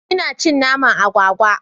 Ina cin naman agwagwa.